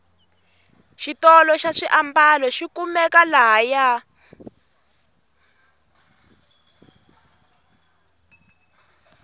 xitolo xa swiambalo xikumeka la haya